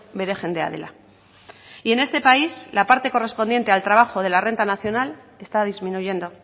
bere jendea dela y en este país la parte correspondiente al trabajo de la renta nacional está disminuyendo